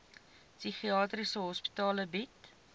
psigiatriese hospitale bied